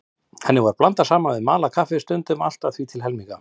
Henni var blandað saman við malað kaffi, stundum allt að því til helminga.